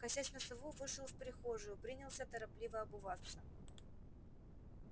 косясь на сову вышел в прихожую принялся торопливо обуваться